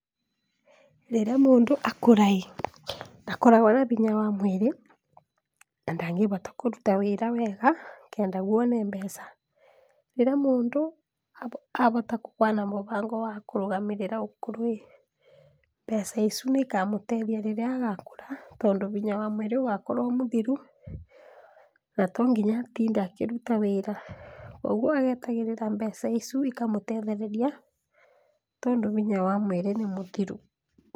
Rĩrĩa mũndũ akũra ĩ, ndakoragwa na hinya wa mwĩrĩ na ndangĩhota kũruta wĩra wega nĩgetha one mbeca, rĩrĩa mũndũ ahota gũkorwo na mũbango wa kũrũgamĩrĩra ũkũrũ ĩ , mbeca icu nĩikamũteithia rĩrĩa agakũra, tondũ hinya wa mwĩrĩ ũgakorwo ũmũthiru, na tonginya atinde akĩruta wĩra, koguo etagĩrĩra mbeca icu ikamũtethereria, tondũ hinya wa mwĩrĩ nĩ mũthiru.